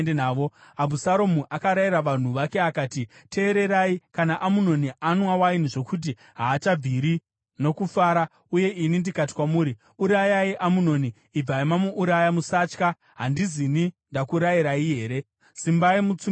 Abhusaromu akarayira vanhu vake akati, “Teererai! Kana Amunoni anwa waini zvokuti haachabviri nokufara uye ini ndikati kwamuri, ‘Urayai Amunoni,’ ibvai mamuuraya. Musatya. Handizini ndakurayirai here? Simbai mutsunge mwoyo.”